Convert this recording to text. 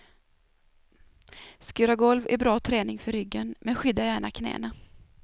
Skura golv är bra träning för ryggen, men skydda gärna knäna.